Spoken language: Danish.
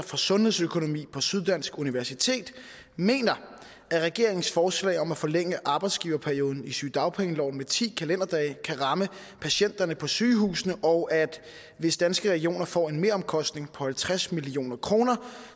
for sundhedsøkonomi på syddansk universitet mener at regeringens forslag om at forlænge arbejdsgiverperioden i sygedagpengeloven med ti kalenderdage kan ramme patienterne på sygehusene og at hvis danske regioner får en meromkostning på halvtreds millioner kroner